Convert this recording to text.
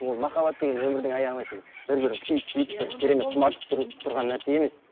ол махаббат деген өмірдің аяғына бір бірін күйіп сүйіп керемет құмартып тұрған нәрсе емес